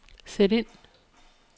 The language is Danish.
sæt ind